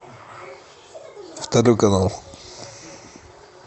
второй канал